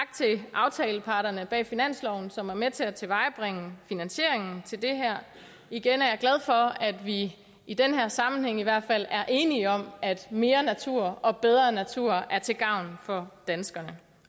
aftaleparterne bag finansloven som er med til at tilvejebringe finansiering til det her igen er jeg glad for at vi i den her sammenhæng i hvert fald er enige om at mere natur og bedre natur er til gavn for danskerne